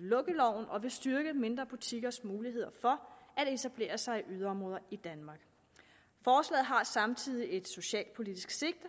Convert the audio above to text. lukkeloven og vil styrke mindre butikkers muligheder for at etablere sig i yderområder i danmark forslaget har samtidig et socialpolitisk sigte